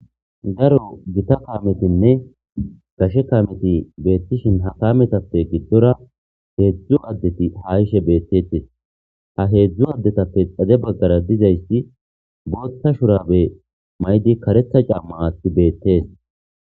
garo gita kametinne kashe kameti beettishin ha kametappe giddora heedzdzu addeti ha ishe beettetes ha heedzdzu addetappe xaze baggara dizaysti bootta shurabe maydi karetha camma aatti beettees